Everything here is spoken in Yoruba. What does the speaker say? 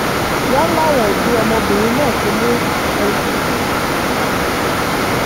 wọ́n láwọn òbí ọmọbìnrin náà ti mú ọmọ wọn lọ síléemọ̀sán fún ìtọ́jú